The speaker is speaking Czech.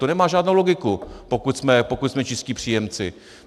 To nemá žádnou logiku, pokud jsme čistí příjemci.